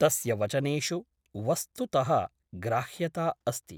तस्य वचनेषु वस्तुतः ग्राह्यता अस्ति ।